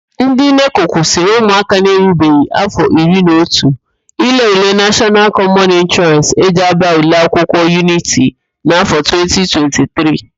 NdỊ NECO kwụsịrị ụmụaka na-erubeghi áfọ iri na otu ile ule nashọnal kọmọn entraans e ji ábà ụlọakwụkwọ yuniti na áfọ 2023